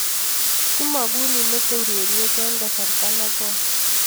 Kimagun imete ureriet eng kasarta ne goi